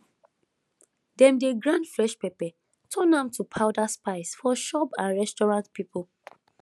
dem dey grind fresh pepper turn am to powder spice for shop and restaurant people